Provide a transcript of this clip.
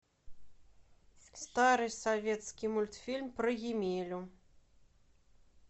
старый советский мультфильм про емелю